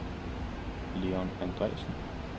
Leon Andreasen